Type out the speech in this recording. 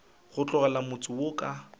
go tlogela motse wo ka